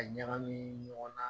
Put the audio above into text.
Ka ɲagami ɲɔgɔn na